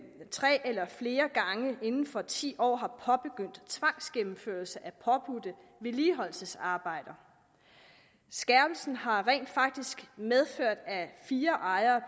tre eller flere gange inden for ti år har påbegyndt tvangsgennemførelse af påbudte vedligeholdelsesarbejder skærpelsen har rent faktisk medført at fire ejere